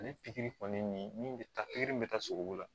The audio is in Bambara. Ale pikiri kɔni nin min bɛ taa pikiri min bɛ taa sogo la